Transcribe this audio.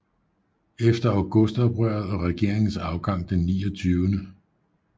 Efter Augustoprøret og regeringens afgang den 29